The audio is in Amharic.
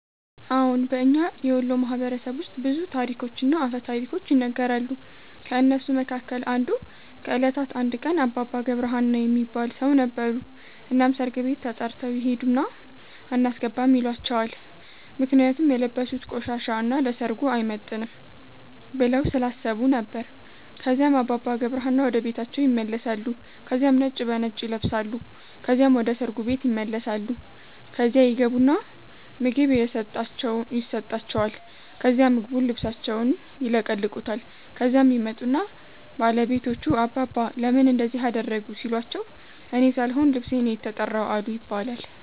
አዎን። በእኛ የወሎ ማህበረሰብ ውስጥ ብዙ ታሪኮችና አፈ ታሪኮች ይነገራሉ። ከእነሱ መካከል አንዱ ከእለታት አንድ ቀን አባባ ገብረ ሀና የሚባል ሠው ነበሩ። እናም ሠርግ ቤት ተተርተው ይሄድና አናስገባም ይሏቸዋል ምክንያቱም የለበሡት ቆሻሻ እና ለሠርጉ አይመጥንም ብለው ስላሠቡ ነበር። ከዚያም አባባ ገብረ ሀና ወደ ቤታቸው ይመለሳሉ ከዚያም ነጭ በነጭ ይለብሳሉ ከዚያም ወደ ሠርጉ ቤት ይመለሳሉ። ከዚያ ይገቡና ምግብ የሠጣቸዋል ከዛ ምግቡን ልብሣቸውን ይለቀልቁታል። ከዚያም ይመጡና ባለቤቶቹ አባባ ለምን እንደዚህ አደረጉ ሲሏቸው እኔ ሣልሆን ልብሤ ነው የተራው አሉ ይባላል።